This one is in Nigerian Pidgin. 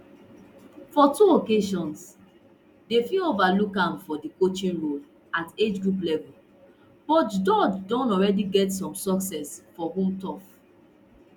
for two occasions di nff overlook amfor di coaching role at agegroup level but george don already get some success for home turf